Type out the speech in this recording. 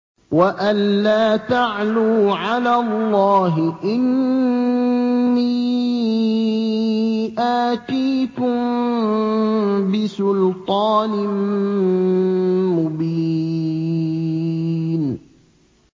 وَأَن لَّا تَعْلُوا عَلَى اللَّهِ ۖ إِنِّي آتِيكُم بِسُلْطَانٍ مُّبِينٍ